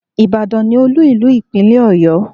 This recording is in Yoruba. Ìbàdàn ni olú ìlú ìpínlẹ̀ Ọ̀yọ́